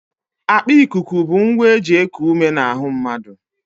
Akpa ikuku bụ ngwa e ji eku ume n'ahụ mmadụ